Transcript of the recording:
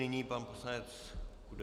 Nyní pan poslanec Kudela.